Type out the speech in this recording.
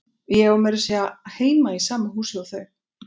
Ég á meira að segja heima í sama húsi og þau.